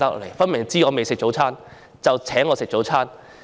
明顯地，對方知道我未吃早餐，所以請我吃早餐。